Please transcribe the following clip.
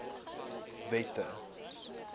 wette